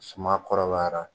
Suma kɔrɔbayara